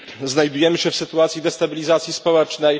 Znajdujemy się w sytuacji destabilizacji społecznej.